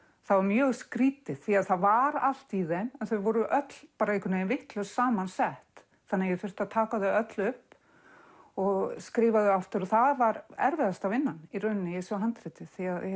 það var mjög skrýtið því það var allt í þeim en þau voru öll vitlaust saman sett ég þurfti að taka þau öll upp og skrifa þau aftur það var erfiðasta vinnan i þessu handriti